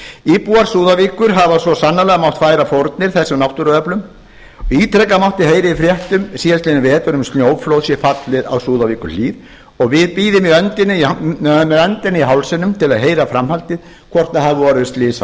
íbúar súðavíkur hafa svo sannarlega mátt færa fórnir þessum náttúruöflum ítrekað mátti heyra í fréttum síðastliðinn vetur um að snjóflóð sé fallið á súðavíkurhlíð og við bíðum með öndina í hálsinum til að heyra framhaldið hvort orðið hafi slys